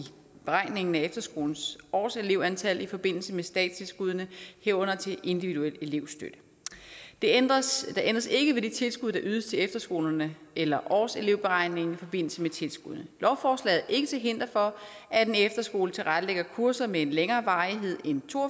beregningen af efterskolens årselevtal i forbindelse med statstilskuddene herunder til individuel elevstøtte der ændres ikke ved det tilskud der ydes til efterskolerne eller årselevberegningen i forbindelse med tilskuddene lovforslaget er ikke til hinder for at en efterskole tilrettelægger kurser med en længere varighed end to og